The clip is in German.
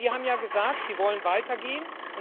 Sie haben ja gesagt, Sie wollen weiter gehen.